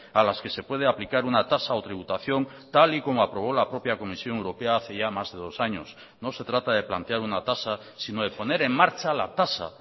a las que se puede aplicar una tasa o tributación tal y como aprobó la propia comisión europea hace ya más de dos años no se trata de plantear una tasa sino de poner en marcha la tasa